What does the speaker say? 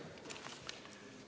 Aitäh!